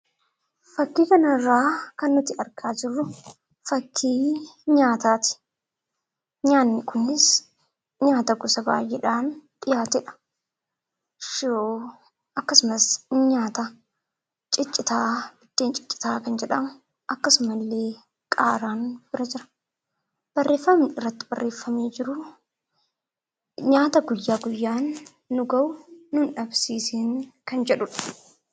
Fakkii kanarraa kan nuti argaa jirru fakkii nyaataati. Nyaatni kunis nyaata gosa baay'eedhaan dhiyaatedha. Shiroo akkasumas nyaata ciccitaa, biddeen ciccitaa kan jedhamu akkasuma illee qaaraan bira jira. Barreeffamni irratti barreeffamee jiru,"Nyaata guyya guyyaan nu ga'u nu hin dhabsiisiin" kan jedhudha.